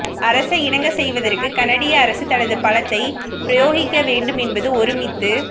அரசை இணங்கச் செய்வதற்கு கனடிய அரசு தனது பலத்தை பிரயோக்கிக்கவேண்டும் என்று ஒருமித்து